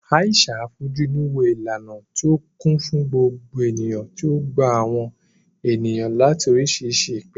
Aisha fojú inú wo ìlànà tí ó kún fún gbogbo ènìyàn tí ó ń gba àwọn ènìyàn láti oríṣiríṣi ìpìlẹ̀.